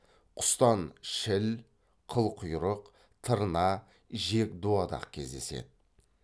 құстан шіл қылқұйрық тырна жек дуадақ кездеседі